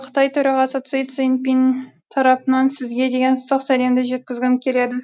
қытай төрағасы си цзиньпин тарапынан сізге деген ыстық сәлемді жеткізгім келеді